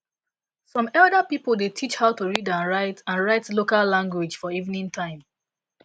some elder pipo dey teach how to read and write and write local language for evening time